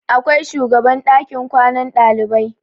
Akwai shugaban ɗakin kwanan ɗalibai.